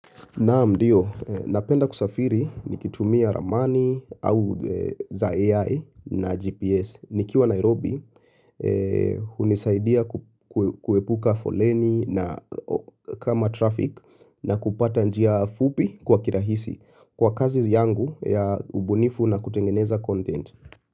Naam ndio, napenda kusafiri nikitumia ramani au za AI na GPS. Nikiwa Nairobi, hunisaidia kuepuka foleni na kama traffic na kupata njia fupi kwa kirahisi. Kwa kazi yangu ya ubunifu na kutengeneza content.